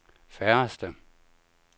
færreste